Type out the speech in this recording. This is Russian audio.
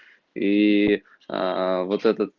и вот этот